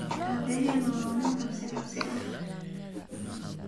Abahena wa nin cabsi cabsi eh.